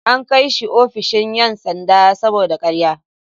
An kai shi ofishin ‘yan sanda saboda karya.